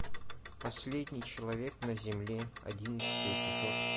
последний человек на земле одиннадцатый эпизод